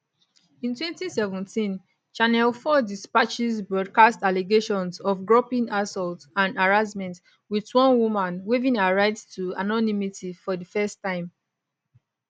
in 2017 channel 4 dispatches broadcast allegations of groping assault and harassment with one woman waiving her right to anonymity for di first time